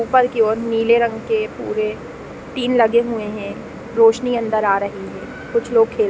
ऊपर की ओर नीले रंग के पूरे टीन लगे हुए हैं रोशनी अंदर आ रही है कुछ लोग खेल --